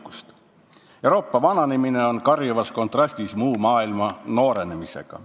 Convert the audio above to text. Euroopa vananemine on karjuvas kontrastis muu maailma noorenemisega.